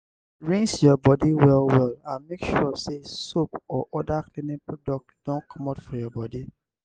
rinse your body well well and make sure sey soap or oda cleaning product don comot for your body